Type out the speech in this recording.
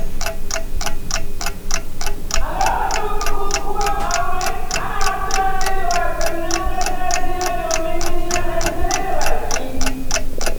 A lokacin bukukuwan aure, ana gudanar da wasannin gargajiya domin nishaɗantar da baƙi.